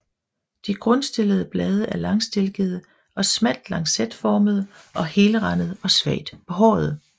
De grundstillede blade er langstilkede og smalt lancetformede og helrandede og svagt behårede